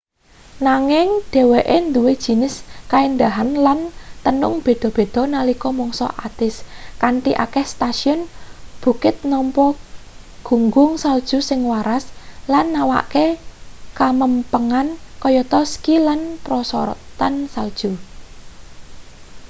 nanging dheweke nduwe jinis kaendahan lan tenung beda-beda nalika mangsa atis kanthi akeh setasiyun bukit nampa gunggung salju sing waras lan nawakake kamempengan kayata ski lan prosotan salju